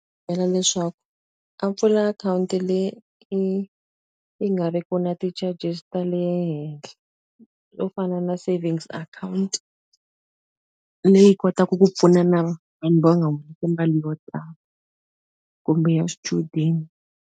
Byela leswaku a pfula akhawunti leyi yi yi nga ri ki na ti-charges ta le henhla. Swo fana na savings account, leyi kotaka ku pfuna na vanhu va nga humesi mali yo tala. Kumbe ya swichudeni.